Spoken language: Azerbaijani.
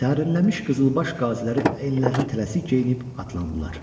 Sərinləmiş qızılbaş qaziləri əyinlərini tələsik geyinib atlandılar.